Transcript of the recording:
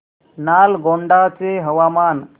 नालगोंडा चे हवामान